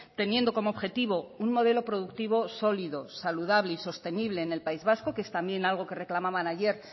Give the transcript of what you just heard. teniendo como objetivo un modelo productivo sólido saludable y sostenible en el país vasco que es también algo que reclamaban ayer